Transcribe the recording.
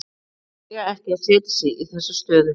Þeir eiga ekki að setja sig í þessa stöðu.